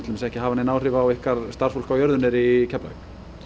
ekki hafa nein áhrif á ykkar starfsfólk á jörðu niðri í Keflavík